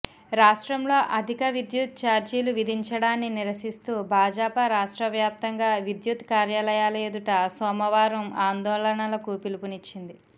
రాష్ట్రంలో అధిక విద్యుత్ ఛార్జీలు విధించడాన్ని నిరసిస్తూ భాజపా రాష్ట్ర వ్యాప్తంగా విద్యుత్ కార్యాలయాల ఎదుట సోమవారం ఆందోళనలకు పిలుపునిచ్చింది